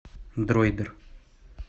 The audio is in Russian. дроидер